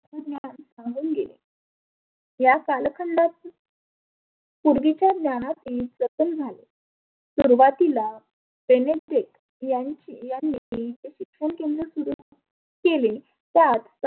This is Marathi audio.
जानुन घे. या कालखंडात पुर्विच्या ज्ञानात ही जतन झाले. सुरुवातीला बेने स्टेक यांची यांनी शिक्षण केंद्र सुरु केले त्यात